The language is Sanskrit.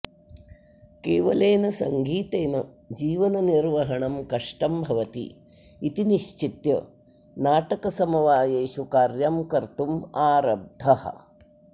केवलेन सङ्गीतेन जीवननिर्वहणं कष्टं भवति इति निश्चित्य नाटकसमवायेषु कार्यं कर्तुम् आरब्धः